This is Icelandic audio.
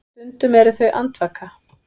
Stundum eru þau andvaka.